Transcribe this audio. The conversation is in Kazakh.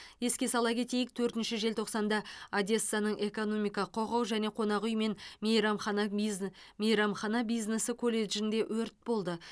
еске сала кетейік төртінші желтоқсанда одессаның экономика құқық және қонақ үй мен мейрамхана бизн мейрамхана бизнесі колледжінде өрт болды